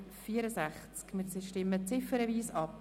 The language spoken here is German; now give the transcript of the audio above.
Wir stimmen ziffernweise ab.